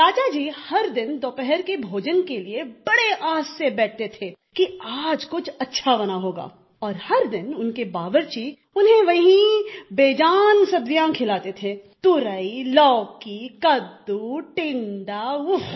राजा जी हर दिन दोपहर के भोजन के लिए बड़े आस से बैठते थे कि आज कुछ अच्छा बना होगा और हर दिन उनके बावर्ची उन्हें वही बेजान सब्जियाँ खिलाते थे तुरई लौकी कददू टिंडा उफ़